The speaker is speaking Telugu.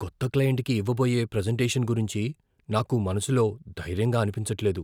కొత్త క్లయింట్కి ఇవ్వ బోయే ప్రెజెంటేషన్ గురించి నాకు మనసులో ధైర్యంగా అనిపించట్లేదు .